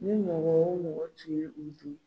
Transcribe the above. Ni mɔgɔ o mɔgɔ tun ye u dun.